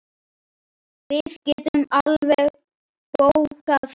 Við getum alveg bókað það.